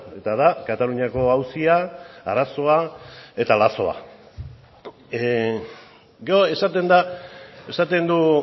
eta da kataluniako auzia arazoa eta lazoa gero esaten da esaten du